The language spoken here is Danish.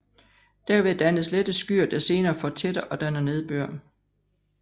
Derved dannes lette skyer der senere fortætter og danner nedbør